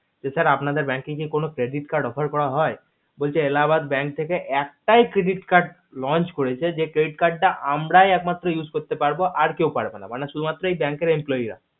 sir আপনাদের bank কি কোনো credit card offer করা হয় বলছে যে এলাহাবাদ bank থেকে একটাই credit card launch করেছে যে credit card তা আমরাই এক মাত্র use করতে পারবো আর কেও পারবে না মানে শুধু মাত্র bank এর employee রা